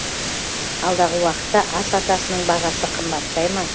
алдағы уақытта ас атасының бағасы қымбаттай ма